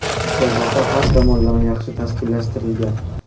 Musobaqa har tomonlama yaxshi tashkillashtirilgan.